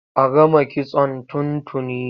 A gama kitson tun tuni.